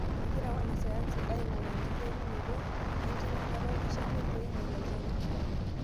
Egira wanasayansi aing'oru enkiterunoto enkiminata olkishamiet pee eing'oru olchani.